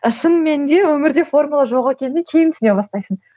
шын мәнінде өмірде формула жоқ екенін кейін түсіне бастайсың